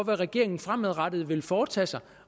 hvad regeringen fremadrettet vil foretage sig